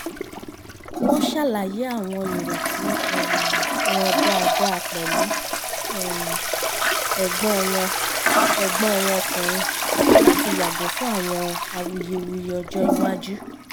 wọ́n ṣàlàyé àwọn ìrètí um wọn dáadáa pẹ̀lú um ẹ̀gbọ́n wọn ẹ̀gbọ́n wọn ọkùnrin láti yàgò fún àwọn awuyewuye ọjọ́ iwájú